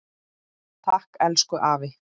Takk, elsku afi.